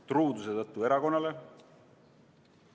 Kas truuduse tõttu erakonnale?